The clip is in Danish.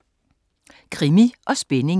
Krimi & Spænding